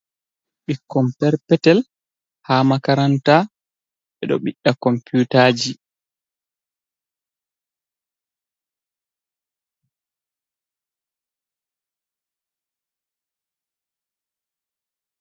Ɓikkon perpetel, ha makaranta ɓedo biɗda computaji.